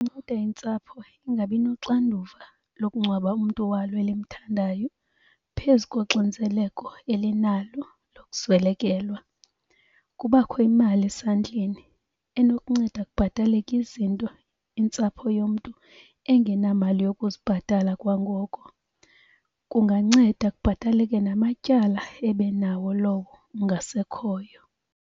nceda intsapho ingabi noxanduva lokungcwaba umntu walo elimthandayo phezu koxinzeleko elinalo lokuswelekelwa. Kubakho imali esandleni enokunceda kubhataleke izinto intsapho yomntu engenamali yokuzibhatala kwangoko. Kunganceda kubhataleke namatyala ebenawo lowo ungasekhoyo.